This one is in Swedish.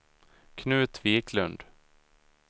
Knut Viklund